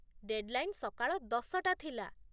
deadline ସକାଳ ଦଶଟା ଥିଲା